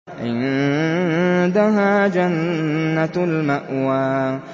عِندَهَا جَنَّةُ الْمَأْوَىٰ